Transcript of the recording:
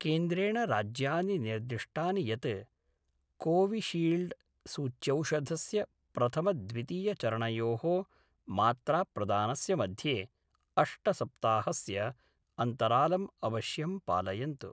केन्द्रेण राज्यानि निर्दिष्टानि यत् कोविशील्ड्सूच्यौषधस्य प्रथमद्वितीयचरणयोः मात्राप्रदानस्य मध्ये अष्टसप्ताहस्य अन्तरालं अवश्यं पालयन्तु।